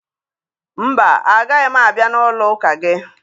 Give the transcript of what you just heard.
Mba, agaghị m abịa n'ụlọụka gị